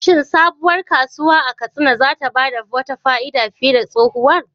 Shin sabuwar kasuwa a Katsina za ta ba da wata fa'ida fiye da tsohuwar?